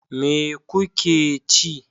Me kuke ci?